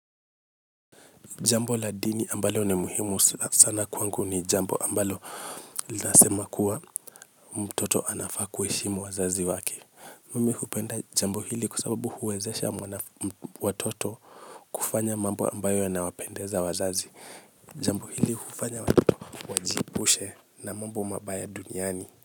Jambo la dini ambalo ni muhimu sana kwangu ni jambo ambalo nasema kuwa mtoto anafaa kuheshimu wazazi waki mimi kupenda jambo hili kuasababu huwezesha watoto kufanya mambo ambayo yanawapendeza wazazi jambo hili kufanya wajiebushe na mambo mabaya duniani.